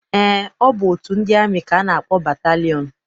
Eé, ọ bụ otu ndị amị ka a na-akpọ batalịọn.